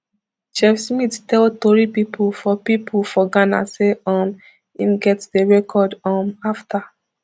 chef smith tell tori pipo for pipo for ghana say um im get di record um afta